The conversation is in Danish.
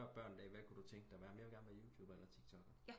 Børn hvad kan du godt tænke dig jamen jeg vil godt være youtuber eller tiktokker